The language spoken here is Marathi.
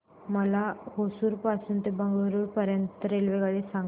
मला होसुर पासून तर बंगळुरू पर्यंत ची रेल्वेगाडी सांगा